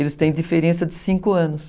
Eles têm diferença de cinco anos.